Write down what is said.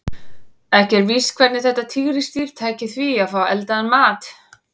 Ekki er víst hvernig þetta tígrisdýr tæki því að fá eldaðan mat.